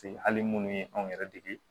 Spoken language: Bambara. hali munnu ye anw yɛrɛ dege